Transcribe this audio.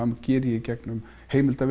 geri ég í gegnum